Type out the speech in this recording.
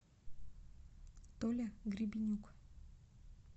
толя гребенюк